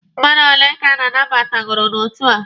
Mmadụ ole ka a nabatagooro n'otu a?